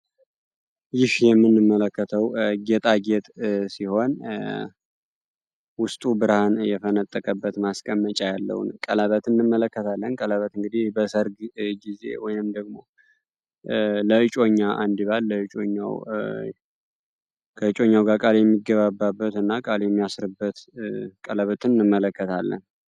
ይህ የምንመለከተው ጌጣጌጥ ሲሆንስቱ ብርሃን የተነጠቀበት ማስቀመጫ ያለውን ቀለበት እንመለከታለን ቀለበት እንግዲህ ወይም ደግሞ የሚገባበትና ቃሌ የሚያስርበት ቀለበትን እንመለከታለን